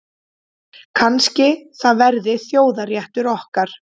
Kannski það verði þjóðarréttur okkar.